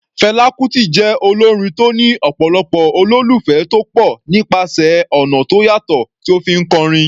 Fela Kuti jẹ́ olórin tó ní ọ̀pọ̀lọpọ̀ olólùfẹ́ tó pọ̀ nípasẹ̀ ọ̀nà tó yàtọ̀ tí ó fi ń kọrin.